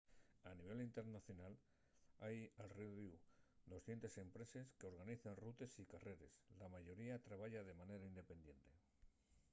a nivel internacional hai al rodiu 200 empreses qu'organicen rutes y carreres la mayoría trabaya de manera independiente